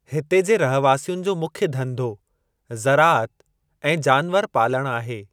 हिते जे रहवासियुनि जो मुख्य धंधो ज़राअत ऐं जानवरु पालणु आहे।